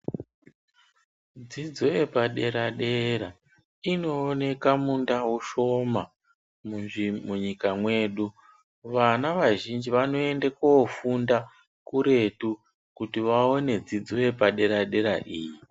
Dzidzo yepadera dera inooneka mundau shoma munyika mwedu, vana vazhinji vanoende kofunda kuretu kuti vaone dzidzo yepadera dera iyi.